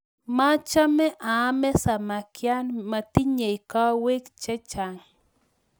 machame aame samakyat metinyei kawoik chechang